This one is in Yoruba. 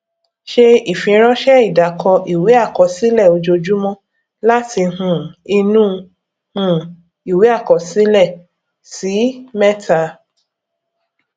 ṣe ìfiránsẹ ìdàkọ ìwé àkọsílẹ ojoojúmọ láti um inú um ìwé àkọsílẹ ṣí mẹta